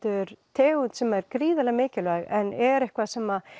tegund sem er gríðarlega mikilvæg en er eitthvað sem